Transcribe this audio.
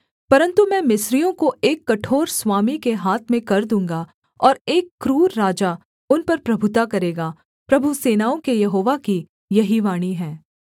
परन्तु मैं मिस्रियों को एक कठोर स्वामी के हाथ में कर दूँगा और एक क्रूर राजा उन पर प्रभुता करेगा प्रभु सेनाओं के यहोवा की यही वाणी है